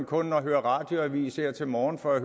kun at have hørt radioavis her til morgen for at